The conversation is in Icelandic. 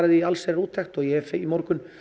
í allsherjarúttekt og ég hef í morgun